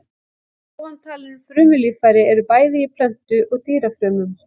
Ofantalin frumulíffæri eru bæði í plöntu- og dýrafrumum.